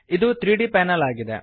ಇದು 3ದ್ ಪ್ಯಾನೆಲ್ ಆಗಿದೆ